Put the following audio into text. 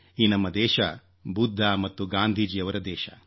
ಈ ನಮ್ಮ ದೇಶ ಬುದ್ಧ ಮತ್ತು ಗಾಂಧೀಜಿಯವರ ದೇಶ